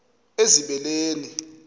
ezibeleni